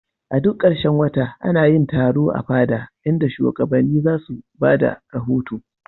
A duk karshen wata ana yin taro a fada, inda shugabanni za su ba da rahoto.